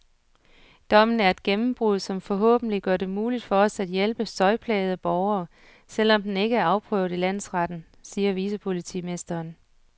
Dommen er et gennembrud, som forhåbentlig gør det muligt for os at hjælpe støjplagede borgere, selv om den ikke er afprøvet i landsretten, siger vicepolitimesteren.